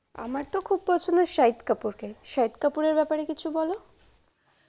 আমার তো খুব পছন্দ শাহিদ কাপুরকে শাহিদ কাপুর এর ব্যাপারে কিছু বলো ।